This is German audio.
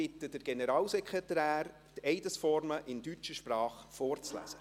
Ich bitte den Generalsekretär, die Eidesformel in deutscher Sprach vorzulesen.